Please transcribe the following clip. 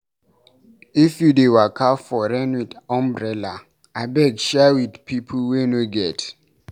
If you dey waka for rain wit umbrella, abeg share wit pipu wey no get.